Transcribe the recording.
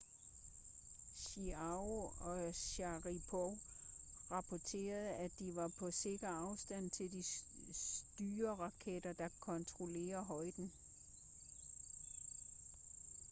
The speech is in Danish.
chiao og sharipov rapporterede at de var på sikker afstand til de styreraketter der kontrollerede højden